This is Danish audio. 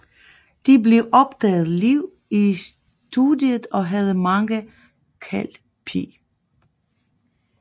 Det blev optaget live i studiet og havde mange Kal P